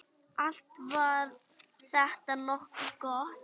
Allt var þetta nokkuð gott.